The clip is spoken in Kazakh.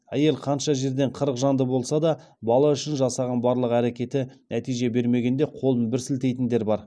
әйел қанша жерден қырық жанды болса да бала үшін жасаған барлық әрекеті нәтиже бермегенде қолын бір сілтейтіндер бар